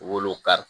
Wolo kari